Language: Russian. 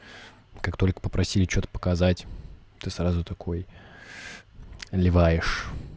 как только попросили что-то показать ты сразу такой леваешь